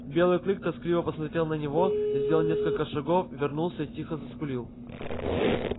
белый клык тоскливо посмотрел на него сделал несколько шагов вернулся и тихо заскулил